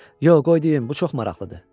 Yox, qoy deyim, bu çox maraqlıdır.